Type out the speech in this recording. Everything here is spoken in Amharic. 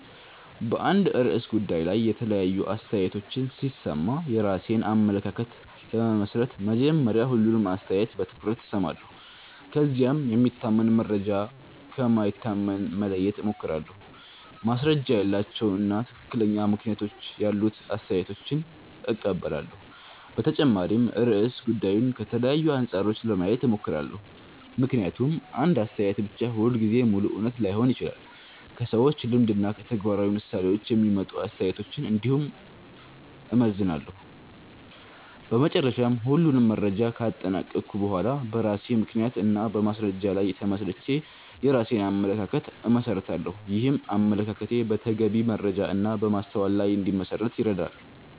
በአንድ ርዕሰ ጉዳይ ላይ የተለያዩ አስተያየቶችን ሲሰማ የራሴን አመለካከት ለመመስረት መጀመሪያ ሁሉንም አስተያየት በትኩረት እሰማለሁ። ከዚያም የሚታመን መረጃ ከማይታመን መለየት እሞክራለሁ፣ ማስረጃ ያላቸውን እና ትክክለኛ ምክንያቶች ያሉትን አስተያየቶች እቀበላለሁ። በተጨማሪም ርዕሰ ጉዳዩን ከተለያዩ አንጻሮች ለማየት እሞክራለሁ፣ ምክንያቱም አንድ አስተያየት ብቻ ሁልጊዜ ሙሉ እውነት ላይሆን ይችላል። ከሰዎች ልምድ እና ከተግባራዊ ምሳሌዎች የሚመጡ አስተያየቶችን እንዲሁም እመዘንላለሁ። በመጨረሻ ሁሉንም መረጃ ካጠናቀቅሁ በኋላ በራሴ ምክንያት እና በማስረጃ ላይ ተመስርቼ የራሴን አመለካከት እመሰርታለሁ። ይህም አመለካከቴ በተገቢ መረጃ እና በማስተዋል ላይ እንዲመሠረት ይረዳል።